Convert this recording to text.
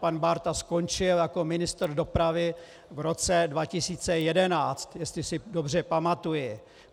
Pan Bárta skončil jako ministr dopravy v roce 2011, jestli si dobře pamatuji.